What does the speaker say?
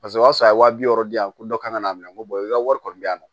Paseke o y'a sɔrɔ a ye waa wɔɔrɔ di yan dɔ kana'a minɛ ko i ka wari kɔni bɛ yan nɔ